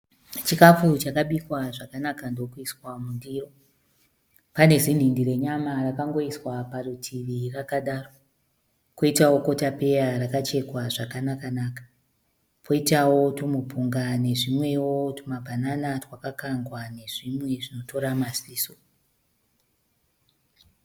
Chikafu chakabikwa zvakanaka ndokuiswa mundiro. Pane zinhindi renyama rakangoiswa parutivi rakadaro. Koitawo kotapeya rakachekwa zvakanaka naka. Poitawo tumupunga nezvimwewo tumabhanana twakakangwa nezvimwe zvinotora maziso.